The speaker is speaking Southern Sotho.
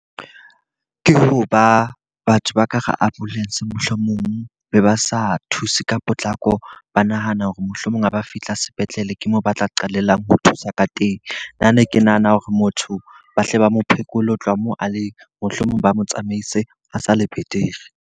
Ke hoba batho ba ka hara ambulance mohlomong be ba sa thuse ka potlako, ba nahana hore mohlomong ha ba fihla sepetlele ke moo ba tla qalellang ho thusa ka teng. Nna ne ke nahana hore motho ba hle ba mo phekole ho tloha moo a leng, mohlomong ba mo tsamaise a sa le betere.